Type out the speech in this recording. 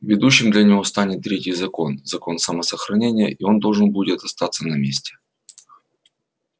ведущим для него станет третий закон закон самосохранения и он должен будет остаться на месте